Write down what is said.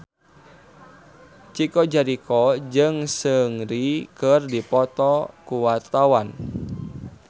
Chico Jericho jeung Seungri keur dipoto ku wartawan